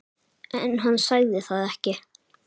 En hann sagði það ekki.